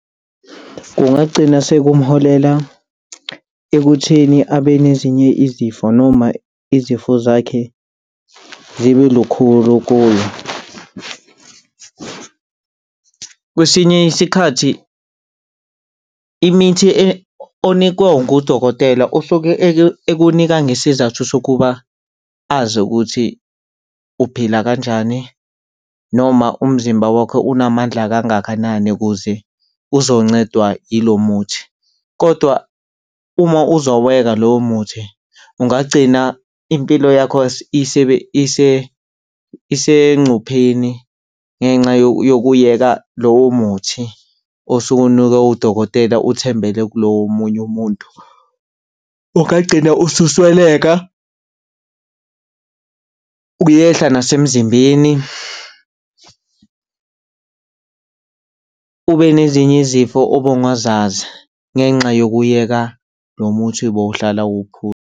Kungagcina sekumholela ekutheni abe nezinye izifo noma izifo zakhe zibe lukhulu kuye. Kwesinye isikhathi imithi onikwa ngudokotela osuke ekunika ngesizathu sokuba azi ukuthi uphila kanjani, noma umzimba wakho unamandla kangakanani ukuze uzoncedwa yilo muthi kodwa uma uzowuyeka lowo muthi ungagcina impilo yakho isengcupheni ngenxa yokuyeka lowo muthi osowunikwe udokotela uthembele kulo womunye umuntu. Ungagcina ususweleka, uyehla nasemzimbeni, ube nezinye izifo obongazazi ngenxa yokuyeka lo muthi bowuhlala uwuphuza.